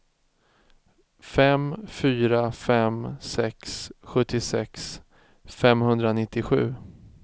fem fyra fem sex sjuttiosex femhundranittiosju